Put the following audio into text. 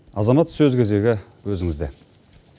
азамат сөз кезегі өзіңізде